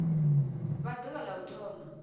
vha ḓuvha la u thoma